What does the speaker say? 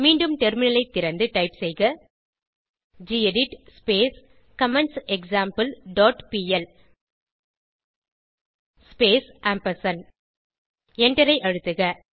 மீண்டும் டெர்மினலை திறந்து டைப் செய்க கெடிட் கமெண்ட்செக்ஸாம்பிள் டாட் பிஎல் ஸ்பேஸ் எண்டரை அழுத்தவும்